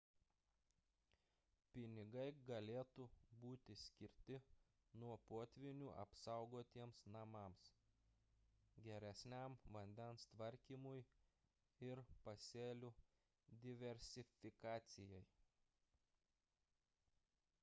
pinigai galėtų būti skirti nuo potvynių apsaugotiems namams geresniam vandens tvarkymui ir pasėlių diversifikacijai